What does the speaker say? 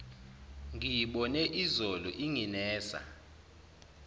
ngiyibone izolo inginesa